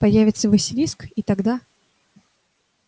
появится василиск и тогда